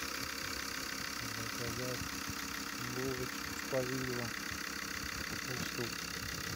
заказать булочек с повидлом пять штук